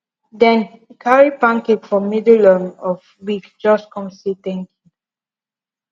dem carry pancake for middle um of week just come say thank